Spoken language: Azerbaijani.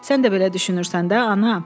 Sən də belə düşünürsən də ana?